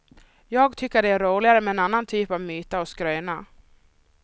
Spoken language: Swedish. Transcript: Jag tycker det är roligare med en annan typ av myter och skrönor.